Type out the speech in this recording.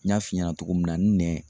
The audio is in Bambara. N y'a f'i ɲɛna cogo min na n nɛn